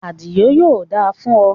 Àdìó, yóò da fún o